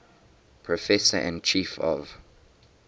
professor and chief of